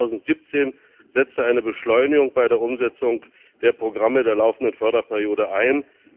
Erst 2017 setzte eine Beschleunigung bei der Umsetzung der Programme der laufenden Förderperiode ein.